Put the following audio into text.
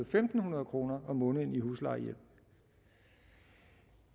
fem hundrede kroner om måneden i huslejehjælp